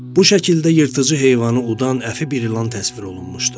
Bu şəkildə yırtıcı heyvanı udan əfi bir ilan təsvir olunmuşdu.